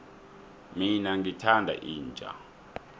mina ngithanda inja